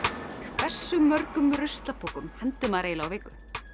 hversu mörgum ruslapokum hendir maður á viku